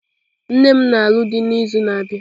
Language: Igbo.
Nne m na-alụ dị n'izu na-abịa.